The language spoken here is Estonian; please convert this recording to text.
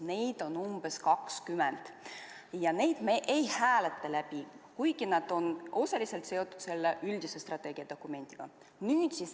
Neid on umbes 20 ja neid me ei hääleta, kuigi nad on osaliselt seotud selle üldise strateegiadokumendiga.